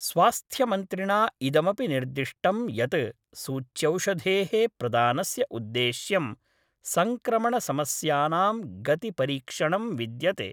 स्वास्थ्यमन्त्रिणा इदमपि निर्दिष्टम् यत् सूच्यौषधेः प्रदानस्य उद्देश्यं संक्रमण समस्यानां गति परीक्षणं विद्यते।